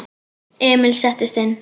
Emil settist inn.